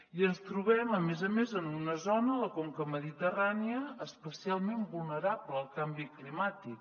i ens trobem a més a més en una zona la conca mediterrània especialment vulnerable al canvi climàtic